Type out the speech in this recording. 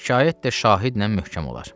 Şikayət də şahidlə möhkəm olar.